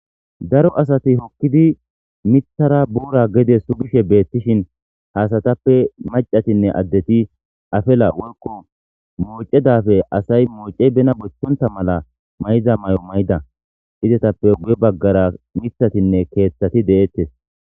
Daro asati hokkidi mithara boora gede sugishe beettishin haasatappe macatinne addeti afela woykko moocedafe asay moocey bena bochchonta mala may'iza may'o mayda izetappe guye baggara mithatinne keeththati deeettes.